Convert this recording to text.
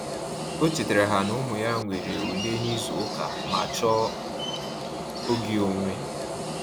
O chetara ha na-ụmụ ya nwere ule na ịzụ ụka ma chọọ oge onwe